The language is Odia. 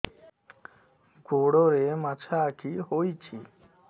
ଗୋଡ଼ରେ ମାଛଆଖି ହୋଇଛି